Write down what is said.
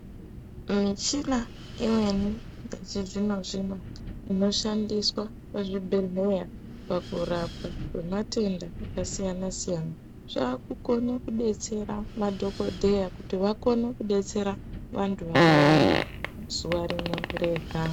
Michina Imweni yechizvino-zvino inoshandiswa muzvibhedhleya pakurapwa kwematenda akasiyana-siyana, yaakukone kudetsera madhogodheya kuti vakone kudetsera vantu vakawanda, zuwa rimwe rega..